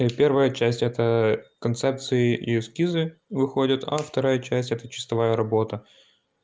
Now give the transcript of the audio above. первая часть это концепции и эскизы выходят а вторая часть это чистовая работа